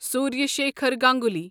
Surya Shekhar Ganguly